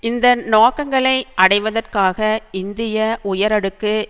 இந்த நோக்கங்களை அடைவதற்காக இந்திய உயரடுக்கு